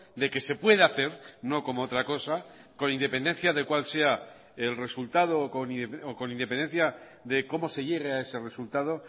de que se puede hacer no como otra cosa con independencia de cuál sea el resultado con independencia de cómo se llegue a ese resultado